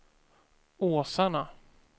Åsarna